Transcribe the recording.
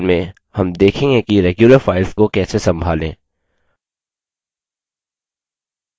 इस tutorial में हम देखेंगे कि regular files को कैसे संभालें